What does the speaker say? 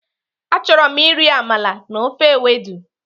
Achọrọ m iri amala na ofe ewedu.